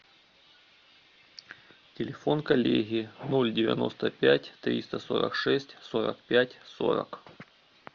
телефон коллеги ноль девяносто пять триста сорок шесть сорок пять сорок